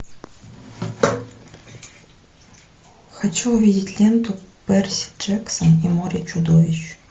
хочу увидеть ленту перси джексон и море чудовищ